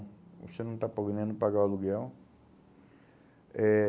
Você não está podendo pagar o aluguel. Eh